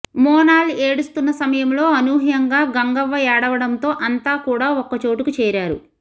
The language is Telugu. మోనాల్ ఏడుస్తున్న సమయంలో అనూహ్యంగా గంగవ్వ ఏడవడంతో అంతా కూడా ఒక్క చోటుకు చేరారు